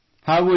ಹೌದು ಸರ್